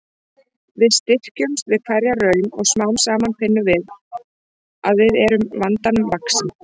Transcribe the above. Við styrkjumst við hverja raun og smám saman finnum við að við erum vandanum vaxin.